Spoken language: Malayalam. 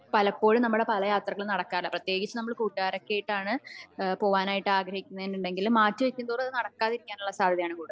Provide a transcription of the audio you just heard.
പലപ്പോഴും നമ്മുടെ പല യാത്രകളും നടക്കാറില്ല പ്രത്യേകിച്ച് നമ്മുടെ കൂട്ടുകാരും ഒക്കെ ആയിട്ടാണ് പോവാനൊക്കെ ആഗ്രഹിക്കുന്നെ എന്നുണ്ടെങ്കിൽ മാറ്റി വെക്കുമ്പോ അത് നടക്കാതിരിക്കാനുള്ള സാധ്യത ആണ് കാണുന്നത്